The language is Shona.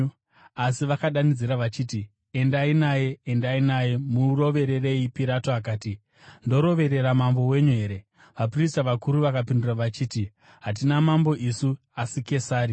Asi vakadanidzira vachiti, “Endai naye! Endai naye! Murovererei!” Pirato akati, “Ndoroverera mambo wenyu here?” Vaprista vakuru vakapindura vachiti, “Hatina mambo isu, asi Kesari.”